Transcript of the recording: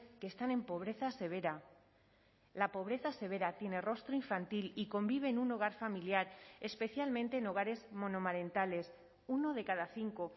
que están en pobreza severa la pobreza severa tiene rostro infantil y convive en un hogar familiar especialmente en hogares monomarentales uno de cada cinco